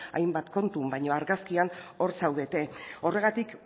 hainbat kontu baina argazkian hor zaudete horregatik